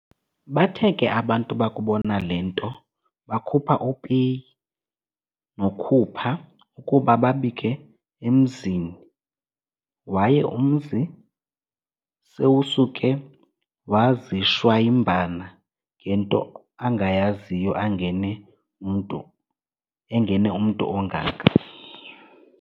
Bathe ke abantu bakubona le nto bakhupha uPeyi noKhupha ukuba babike emzini waye umzi sewusuke wazishwayimbana ngento angayaziyo engene umntu ongaka.